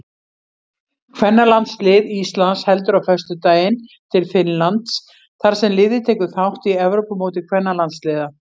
Kvennalandslið Íslands heldur á föstudaginn til Finnlands þar sem liðið tekur þátt í Evrópumóti kvennalandsliða.